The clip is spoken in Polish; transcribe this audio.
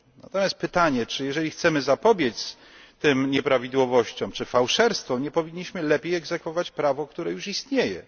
Pojawia się zatem pytanie czy jeżeli chcemy zapobiec tym nieprawidłowościom czy fałszerstwom, nie powinniśmy lepiej egzekwować prawo, które już istnieje?